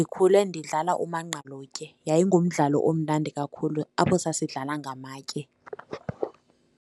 Ndikhule ndidlala umangqalutye, yayingumdlalo omnandi kakhulu apho sasidlala ngamatye.